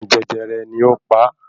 Àrùn jẹjẹrẹ ni ó pa á